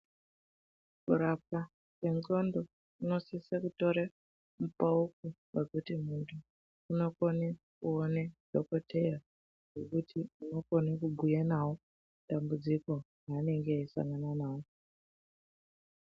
Kurapwa kwendxondo kunosise kutore mupauko wekuti muntu unokone kuone dhokoteya wekuti unokone kubhuya navo dambudziko ranenge eisangana naro.